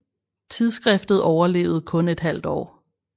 Tidsskriftet overlevede kun et halvt år